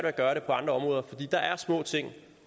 at gøre det på andre områder fordi der er små ting